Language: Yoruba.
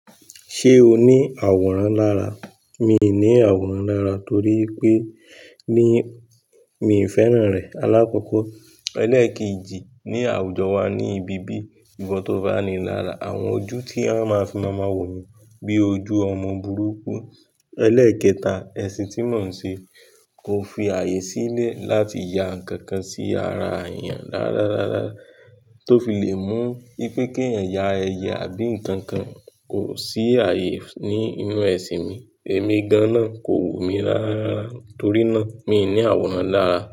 Ṣé o ní àwòrán lára? Mi ní àwòrán lára torí ipé ní, mi ò fẹ́ràn rẹ̀. Alákọ̀kọ́, ẹlẹ́ẹ̀kejì ní àwùjọ wa ní ibi bí ìwọ tó bá ni lára, àwọn ojú tí won máa fi máa ma wò ni bí ojú ọmọ burúkú. Ẹlẹ́ẹ̀kẹta, ẹ̀sìn tí mò ń ṣe kò fi ààyè sílẹ̀ láti ya ǹkan kan sí ara èèyàn rárarára tó fi le mú ipé kí eyan ya ẹyẹ àbí ǹkan kan kò sí ààyè ní inú ẹ̀sìn mi. Ẹ̀mí gan na kò wù mí rárarára torí náà mi ní àwòrán lára.